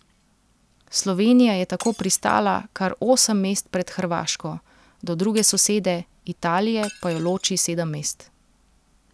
Slovenija je tako pristala kar osem mest pred Hrvaško, do druge sosede, Italije, pa jo loči sedem mest.